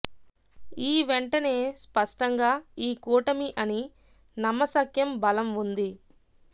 ఈ వెంటనే స్పష్టంగా ఈ కూటమి అని నమ్మశక్యం బలం ఉంది